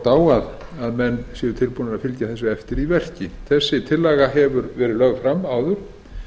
á að menn séu tilbúnir að fylgja þessu eftir í verki þessi tillaga hefur verið lögð fram áður og